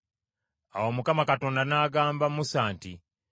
Awo Mukama Katonda n’agamba Musa nti,